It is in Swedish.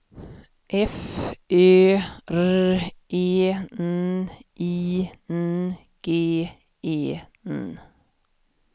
F Ö R E N I N G E N